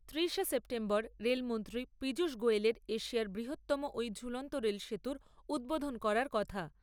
তিরিশে সেপ্টেম্বর রেলমন্ত্রী পীযূষ গোয়েলের এশিয়ার বৃহত্তম এই ঝুলন্ত রেল সেতুর উদ্বোধন করার কথা।